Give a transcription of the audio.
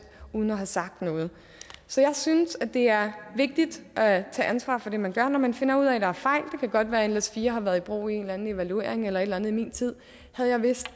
uden at have sagt noget så jeg synes at det er vigtigt at tage ansvar for det man gør når man finder ud af at der fejl det kan godt være at nles4 har været i brug i en eller anden evaluering eller et eller andet i min tid